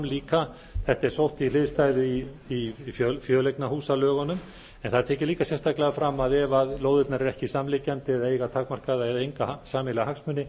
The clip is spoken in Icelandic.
líka þetta er sótt í hliðstæðu í fjöleignahúsalögunum en það er tekið líka sérstaklega fram að ef lóðirnar eru ekki samliggjandi eða eiga takmarkaða eða enga sameiginlega hagsmuni